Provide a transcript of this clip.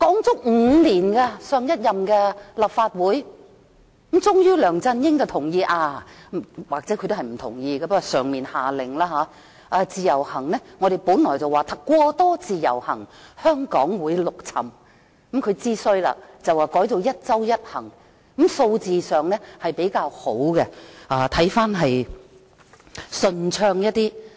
就此，立法會已經討論了5年，最終梁振英同意——或許他其實不同意，不過內地下了命令——我們說"過多自由行，香港會陸沉"，他知道情況不妙了，遂改為"一周一行"，數字上比較好，情況看起來也順暢一點。